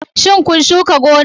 Shin kun shuka gonar?